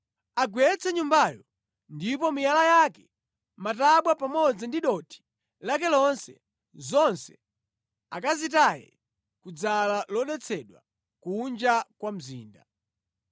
Agwetse nyumbayo, ndipo miyala yake, matabwa pamodzi ndi dothi lake lonse, zonse akazitaye kudzala lodetsedwa, kunja kwa mzinda.